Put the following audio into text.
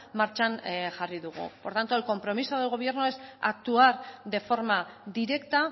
martxan jarri dugu por tanto el compromiso del gobierno es actuar de forma directa